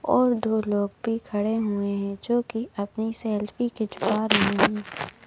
और दो लोग भी खड़े हुए हैं जो कि अपनी सेल्फी खिचवा रहे हैं।